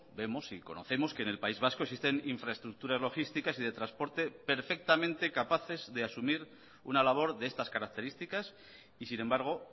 vemos y conocemos que en el país vasco existen infraestructuras logísticas y de transporte perfectamente capaces de asumir una labor de estas características y sin embargo